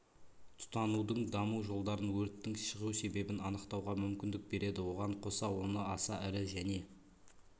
тұтанудың даму жолдарын өрттің шығу себебін анықтауға мүмкіндік береді оған қоса оны аса ірі және